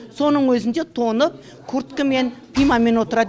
соның өзінде тоңып курткімен пимамен отырады